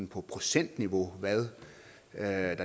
på procentniveau hvad der